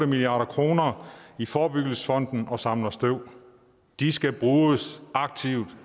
milliard kroner i forebyggelsesfonden og samler støv de skal bruges aktivt